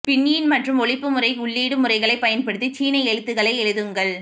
pinyin மற்றும் ஒலிப்புமுறை உள்ளீடு முறைகளைப் பயன்படுத்தி சீன எழுத்துக்களை எழுதுங்கள்